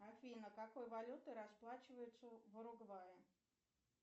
афина какой валютой расплачиваются в уругвае